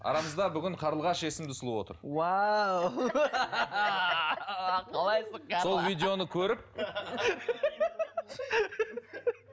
арамызда бүгін қарлығаш есімді сұлу отыр уау қалайсың карла сол видеоны көріп